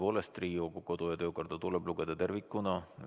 Tõepoolest, Riigikogu kodu- ja töökorda tuleb lugeda tervikuna.